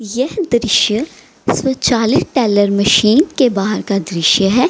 यह दृश्य tailor machine का दृश्य है।